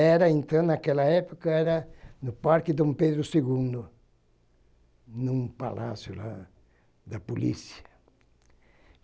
Era então, naquela época, era no Parque Dom Pedro segundo, em um palácio da polícia.